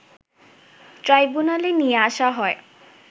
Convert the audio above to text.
ট্রাইব্যুনালে নিয়ে আসা হয়